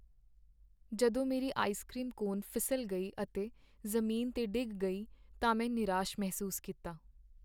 ਜਦੋਂ ਮੇਰੀ ice cream cone ਫਿਸਲ ਗਈ ਅਤੇ ਜ਼ਮੀਨ 'ਤੇ ਡਿੱਗ ਗਈ ਤਾਂ ਮੈਂ ਨਿਰਾਸ਼ ਮਹਿਸੂਸ ਕੀਤਾ।